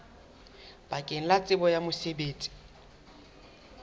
bakeng la tsebo ya mosebetsi